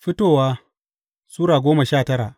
Fitowa Sura goma sha tara